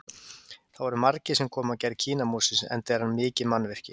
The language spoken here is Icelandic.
Það voru margir sem komu að gerð Kínamúrsins enda er hann mikið mannvirki.